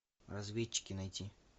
разведчики найти